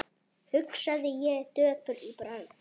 hugsaði ég döpur í bragði.